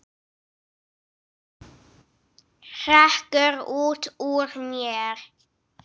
hrekkur út úr mér.